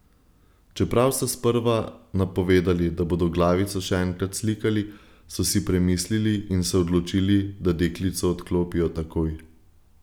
Čeprav so sprva napovedali, da bodo glavico še enkrat slikali, so si premislili in se odločili, da deklico odklopijo takoj.